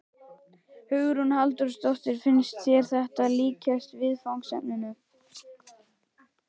Hugrún Halldórsdóttir: Finnst þér þetta líkjast viðfangsefninu?